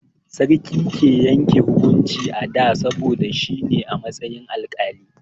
Sarki ke yanke hukunci a da, saboda shi ne a matsayin alƙali.